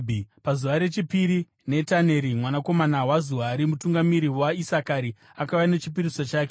Pazuva rechipiri, Netaneri mwanakomana waZuari, mutungamiri waIsakari, akauya nechipiriso chake.